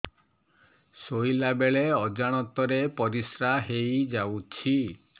ଶୋଇଲା ବେଳେ ଅଜାଣତ ରେ ପରିସ୍ରା ହେଇଯାଉଛି